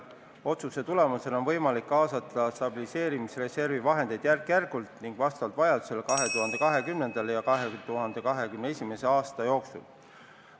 Otsuse tulemusel on võimalik kaasata stabiliseerimisreservi vahendeid 2020. ja 2021. aasta jooksul järk-järgult ning vastavalt vajadusele.